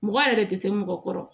Mɔgɔ yɛrɛ tɛ se mɔgɔ kɔrɔ